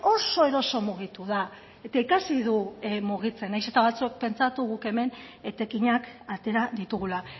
oso eroso mugitu da eta ikasi du mugitzen nahiz eta batzuek pentsatu guk hemen etekinak atera ditugula